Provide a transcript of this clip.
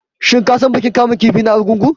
Shin ka san bikin kamun kifi na Argungu?